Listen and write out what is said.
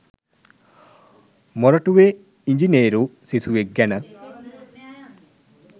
මොරටුවේ ඉංජිනේරු සිසුවෙක් ගැන.